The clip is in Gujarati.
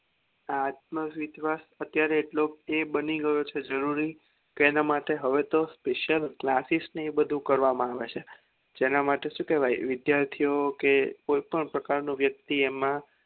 આત્મવિશ્વાસ અત્યારે એટલો એ માની ગયો છે જરૂરી કે એના માટે હવે તો special classes ને એ બધું કરવામાં આવે છે જેના માટે શું કેવાય વિશ્યાર્થીઓ વિદ્યાર્થીઓ કોઈ પણ પ્રકાર નો વ્યક્તિ એમાં